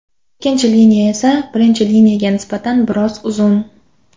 Ikkinchi liniya esa birinchi liniyaga nisbatan biroz uzun.